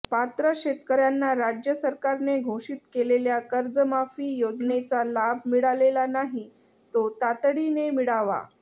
पात्र शेतकऱ्यांना राज्य सरकारने घोषित केलेल्या कर्जमाफी योजनेचा लाभ मिळालेला नाही तो तातडीने मिळावा